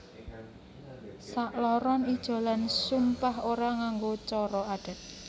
Sakloron ijolan sumpah ora nganggo cara adat